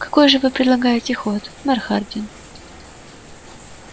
какой же вы предлагаете ход мэр хардин